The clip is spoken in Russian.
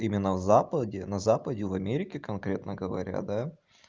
именно в западе на западе в америке конкретно говоря да